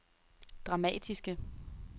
dramatiske